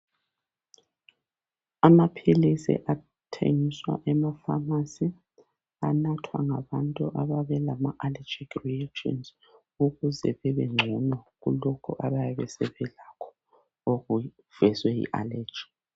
Amaphilisi athengiswa emafamasi anathwa ngabantu ababelama alejikhi reactions ukuze bebengcono kulokhu abayabe sebelakho okuvezwe yi aleji